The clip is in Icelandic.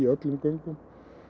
öllum göngum